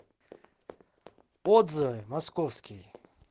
отзывы московский